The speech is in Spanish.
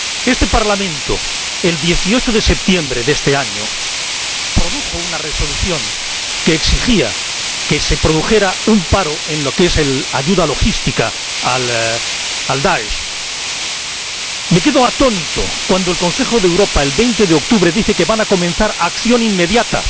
Este Parlamento, el 18 de septiembre de este año, emitió una Resolución que exigía que se produjera un paro en la ayuda logística al DAESH. Me quedo atónito cuando el Consejo de Europa, el 20 de octubre, dice que van a comenzar una acción inmediata.